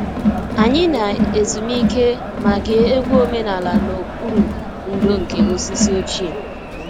Anyị na-ezumike ma gee egwu omenala n'okpuru ndò nke osisi ochie